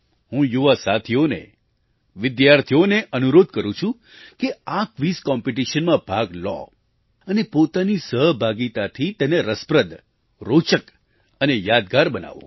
હું યુવા સાથીઓને વિદ્યાર્થીઓને અનુરોધ કરું છું કે આ ક્વિઝ કોમ્પિટિશનમાં ભાગ લો અને પોતાની સહભાગિતાથી તેને રસપ્રદ રોચક અને યાદગાર બનાવો